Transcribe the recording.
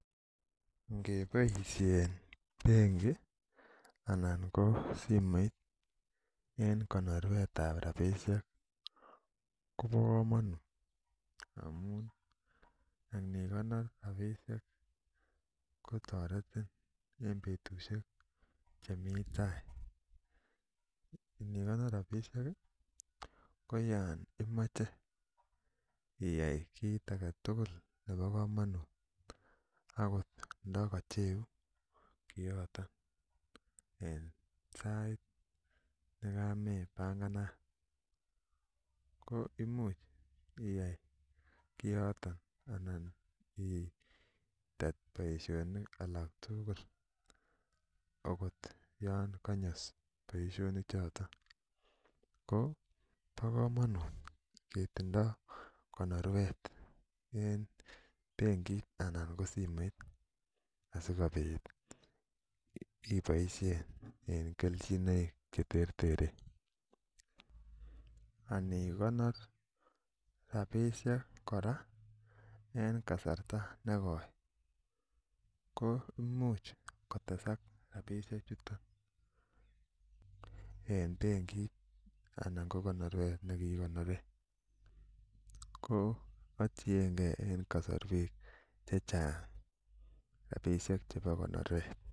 Ingeboisien bengi ih , anan ko simoit en konorwet tab rabinik kobo kamanut anikonar rabinik kotareti en betusiek chemi tai , inikonor rabisiek ih ko yaan imache iyai kit agetugul nebokamanut akot ndakacheuu kiaton en saait nekame banganat ko imuche anan ih itet boisionik aketugul Yoon kanyas boisionik choton ko bakamanut ketindo konorwet en bengiit anan ko simoit asikoibaishen en kelchinoek cheterter anikonor kora en negoi ko imuche kotesak en bengiit anan anan konoruet ko atienge en kasarwek chechang rabisiek chebo konorwet